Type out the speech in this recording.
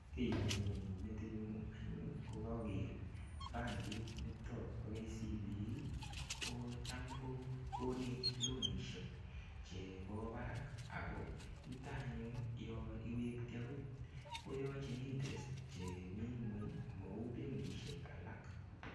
Kiy nenyone metinyun anyun kokaker bankit nito bo KCB ko cham ko konech loanishek chebo barak ako nito anyun yo iwekti akot koyochin interest chemii ng'weny mau benkishek alak.